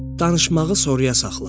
Danışmağı sonraya saxla.